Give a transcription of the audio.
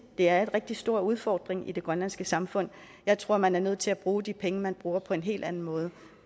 det er en rigtig stor udfordring i det grønlandske samfund jeg tror man er nødt til at bruge de penge man bruger på en hel anden måde